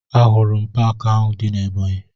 Ahụrụ m paakị ahụ dị na Ebọnyị